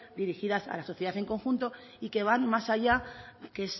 dirigidas a la sociedad en conjunto y que van más allá que